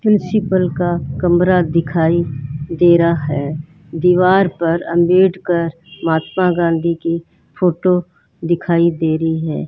Principal का कमरा दिखाई दे रहा है दीवार पर अम्बेडकर महात्मा गांधी की फोटो दिखाई दे रही है।